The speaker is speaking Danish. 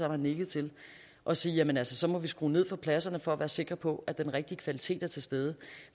har nikket til og sige jamen så må vi skrue ned for pladserne for at være sikre på at den rigtige kvalitet er til stede